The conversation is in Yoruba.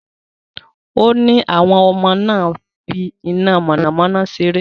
Ó ní àwọn ọmọ náà ń fi iná mọ̀nàmọ́ná ṣeré.